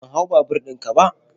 Ban hau babur ɗin ka ba.